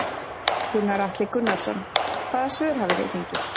Gunnar Atli Gunnarsson: Hvaða svör hafi þið fengið?